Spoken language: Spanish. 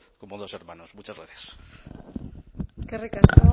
como dos hermanos muchas gracias eskerrik asko